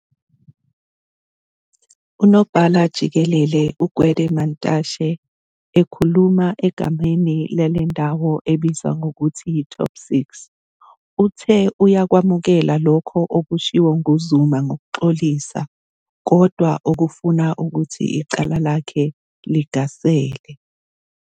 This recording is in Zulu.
UNobhala-Jikelele uGwede Mantashe, ekhuluma egameni lele ndawo ebizwa ngokuthi yiTop six, uthe uyakwamukela lokho okushiwo nguZuma ngokuxolisa kodwa okufuna ukuthi icala lakhe ligasele.